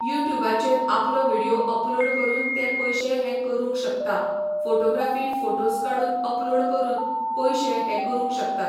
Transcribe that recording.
युट्युबाचेर आपलो video upload करून ते पयशे हे करूंक शकता फोटोग्राफी फोटोस् काडून अपलोड करून पयशे हे करूंक शकतात .